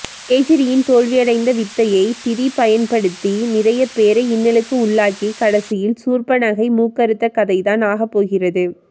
கேஜிரியின் தோல்வி அடைந்த வித்தையை திதி பயன்படுத்தி நிறைய பேரை இன்னலுக்கு உள்ளாக்கி கடைசியில் சூர்ப்பனகை மூக்கறுத்த கதைதான் ஆகப்போகிறது